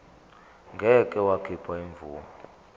ngeke wakhipha imvume